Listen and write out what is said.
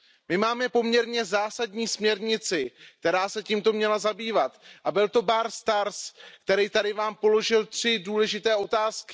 My máme poměrně zásadní směrnici, která se tímto měla zabývat, a byl to Bart Staes, který tady Vám položil tři důležité otázky.